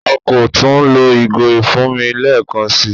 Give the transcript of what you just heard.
À kọ́ tún lọ̀ igò ifúnmi lẹẹkan sí.